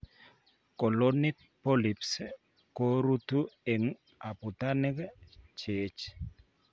Colonic polyps koruutu eng' abutanik cheech